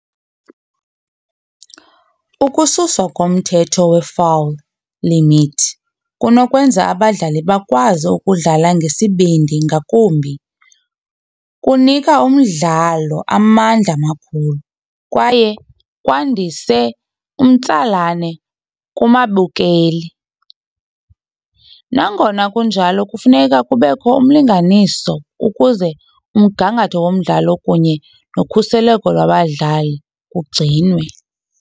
Ukususwa komthetho we-foul limit kunokwenza abadlali bakwazi ukudlala ngesibindi, ngakumbi kunika umdlalo amandla amakhulu kwaye kwandise umtsalane kumabukeli. Nangona kunjalo kufuneka kubekho umlinganiso ukuze umgangatho womdlalo kunye nokhuseleko lwabadlali ugcinwe.